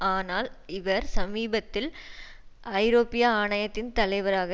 ஆனால் இவர் சமீபத்தில் ஐரோப்பிய ஆணையத்தின் தலைவராக